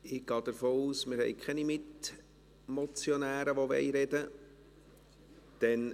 Ich gehe davon aus, dass es keine Mitmotionäre gibt, die sprechen wollen.